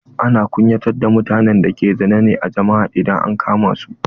Ana kunyatar da mutanen da ke zina ne a jama'a idan an kama su.